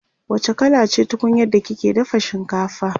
wacce kala ce tunkunyar da kika dafa shinkafa?